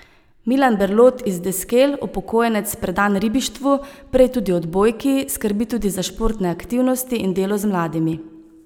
Milan Berlot iz Deskel, upokojenec predan ribištvu, prej tudi odbojki, skrbi tudi za športne aktivnosti in delo z mladimi.